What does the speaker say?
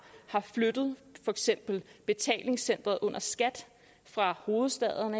haft flyttet for eksempel betalingscenteret under skat fra hovedstaden